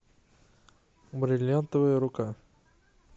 бриллиантовая рука